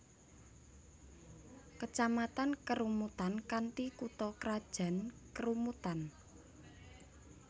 Kecamatan Kerumutan kanthi kutha krajan Kerumutan